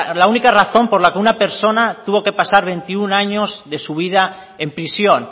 la única razón por la que una persona tuvo que pasar veintiuno años de su vida en prisión